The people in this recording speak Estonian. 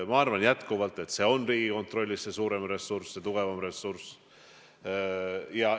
Ma arvan jätkuvalt, et Riigikontrollil on suurem ressurss, tugevam ressurss.